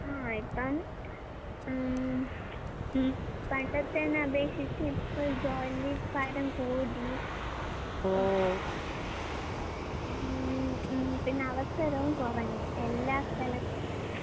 ആഹ് ഇപ്പാന്ന് ആം പണ്ടത്തേനെ ആപേക്ഷിച്ച് ഇപ്പ ജോലി ഭാരം കൂടി ഉം ഉം പിന്നവസരോം കൊറഞ്ഞ്. എല്ലാ സ്ഥലത്തും